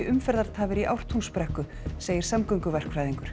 umferðartafir í Ártúnsbrekku segir